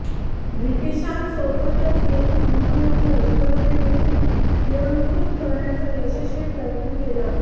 ब्रिटीशांसोबतच येथील मनुवादी अजगराने देखील गिळंकृत करण्याचा यशस्वी प्रयत्न केला